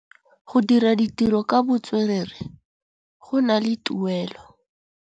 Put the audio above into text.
Go dira ditirô ka botswerere go na le tuelô.